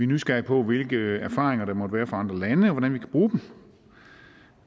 nysgerrige på hvilke erfaringer der måtte være fra andre lande og hvordan vi kan bruge dem